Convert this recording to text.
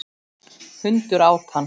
Hundur át hann.